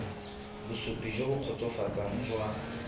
bosupi jo bo kgotsofatsang jwa